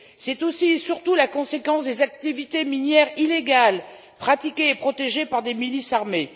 C'est aussi et surtout la conséquence des activités minières illégales pratiquées et protégées par des milices armées.